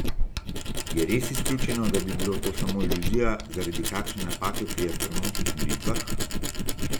Je res izključeno, da bi bilo to samo iluzija zaradi kakšne napake pri astronomskih meritvah?